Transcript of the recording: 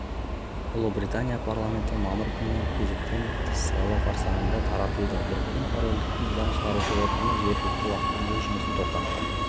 ұлыбритания парламенті мамыр күні кезектен тыс сайлау қарсаңында таратылды біріккен корольдіктің заң шығарушы органы жергілікті уақытпен өз жұмысын тоқтатты